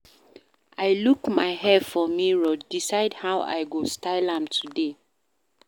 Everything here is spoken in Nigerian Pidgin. I look my hair for mirror, decide how I go style am today.